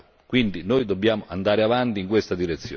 Quindi dobbiamo andare avanti in questa direzione.